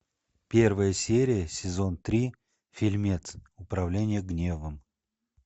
первая серия сезон три фильмец управление гневом